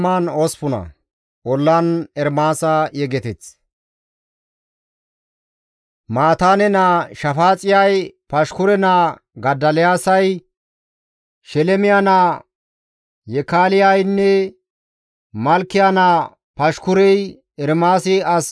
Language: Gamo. Mataane naa Shafaaxiyay, Pashkure naa Godoliyaasay, Shelemiya naa Yekaaleynne Malkiya naa Pashkurey Ermaasi as ubbaas yootida qaalata siyida.